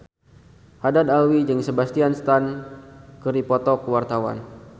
Haddad Alwi jeung Sebastian Stan keur dipoto ku wartawan